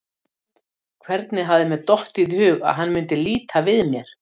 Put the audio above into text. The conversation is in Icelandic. Hvernig hafði mér dottið í hug að hann myndi líta við mér?